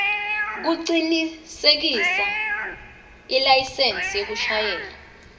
kucinisekisa ilayisensi yekushayela